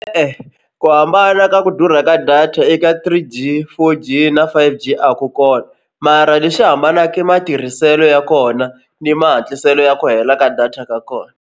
E-e ku hambana ka ku durha ka data eka three g, four g na five g a ku kona mara lexi hambanaka matirhiselo ya kona ni mahatliselo ya ku hela ka data ka kona.